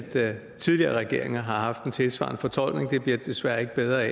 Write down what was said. tidligere regeringer har haft en tilsvarende fortolkning og det bliver det desværre ikke bedre